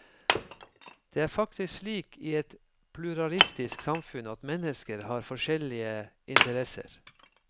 Det er faktisk slik i et pluralistisk samfunn at mennesker har forskjellige interesser.